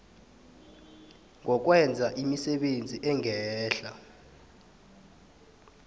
ngokwenza imisebenzi engehla